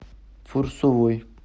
фурсовой